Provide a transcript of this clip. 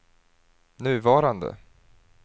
nuvarande